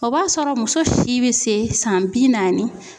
O b'a sɔrɔ muso si bɛ se san bi naani.